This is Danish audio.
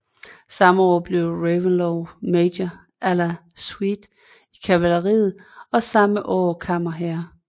Samme år blev Reventlow major à la suite i kavaleriet og samme år kammerherre